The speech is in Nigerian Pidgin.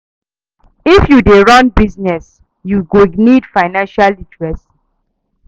If you dey run business, you go need financial literacy.